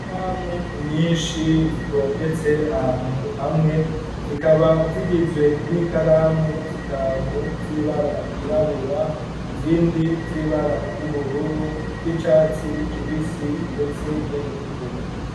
Ikaramu nyishi zitondetse ahantu hamwe, zikaba zigizwe n'ikaramu zitanu z'ibara ryirabura, izindi z'ibara ry'ubururu z'icatsi kibisi ndetse n'iritukura.